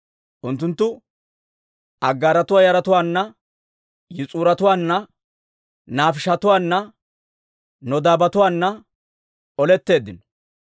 Unttunttu Aggaaratuwaa yaratuwaanna, Yis'uratuwaana, Naafiishatuwaanne Nodaabatuwaanna oletteeddino.